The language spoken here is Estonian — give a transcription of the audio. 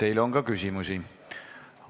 Teile on ka küsimusi.